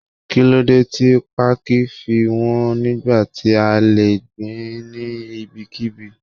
Kíló dé tí pákí fi wọn nígbà tí a le gbìn ín ní ibikíbi?